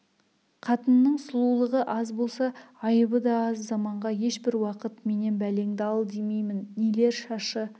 қатынның сұлулығы аз болса айыбы да аз заманға ешбір уақыт менен бәлеңді ал демеймін нелер шашы